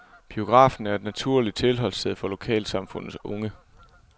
Biografen er et naturligt tilholdssted for lokalsamfundets unge.